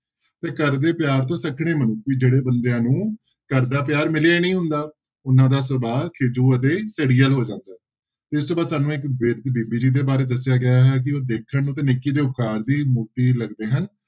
ਤੇ ਘਰ ਦੇ ਪਿਆਰ ਤੋਂ ਸਖਣੇ ਜਿਹੜੇ ਬੰਦਿਆਂ ਨੂੰ ਘਰਦਾ ਪਿਆਰ ਮਿਲਿਆ ਨੀ ਹੁੰਦਾ ਉਹਨਾਂ ਦਾ ਸੁਭਾਅ ਖਿਝੂ ਅਤੇ ਝੜੀਅਲ ਹੋ ਜਾਂਦਾ ਹੈ, ਇਸ ਤੋਂ ਬਾਅਦ ਸਾਨੂੰ ਇੱਕ ਬਿਰਧ ਬੀਬੀ ਜੀ ਦੇ ਬਾਰੇ ਦੱਸਿਆ ਗਿਆ ਹੈ ਕਿ ਉਹ ਦੇਖਣ ਨੂੰ ਤੇ ਨੇਕੀ ਤੇ ਉਪਕਾਰ ਦੀ ਮੂਰਤੀ ਲੱਗਦੇ ਹਨ,